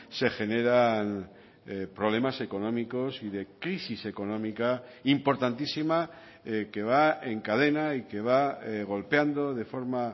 se generan problemas económicos y de crisis económica importantísima que va en cadena y que va golpeando de forma